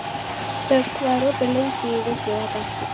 Dögg, hvað er opið lengi í Vikivaka?